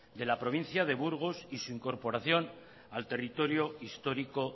de la provincia de burgos y su incorporación al territorio histórico